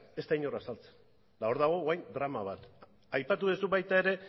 ez da inor azaltzen eta hor dago orain drama bat aipatu duzu baita ere